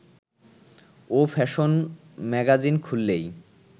ও fashion magazine খুললেই